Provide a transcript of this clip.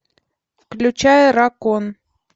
включай ракон